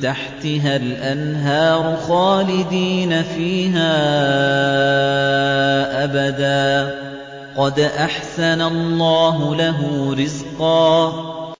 تَحْتِهَا الْأَنْهَارُ خَالِدِينَ فِيهَا أَبَدًا ۖ قَدْ أَحْسَنَ اللَّهُ لَهُ رِزْقًا